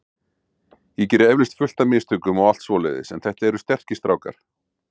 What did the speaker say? Ég geri eflaust fullt af mistökum og allt svoleiðis en þetta eru sterkir strákar.